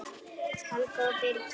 Helga og Birgir.